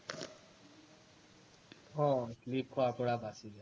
অ slip খোৱাৰ পৰা বাচি যায়